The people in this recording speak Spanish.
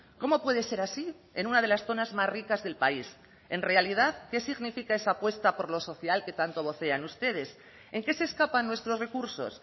cómo puede ser así en una de las zonas más ricas del país en realidad qué significa esa apuesta por lo social que tanto vocean ustedes en qué se escapan nuestros recursos